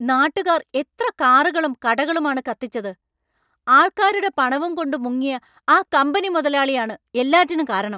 നാട്ടുകാർ എത്ര കാറുകളും കടകളും ആണ് കത്തിച്ചത്; ആൾക്കാരുടെ പണവുംകൊണ്ട് മുങ്ങിയ ആ കമ്പനി മുതലാളിയാണ് എല്ലാറ്റിനും കാരണം.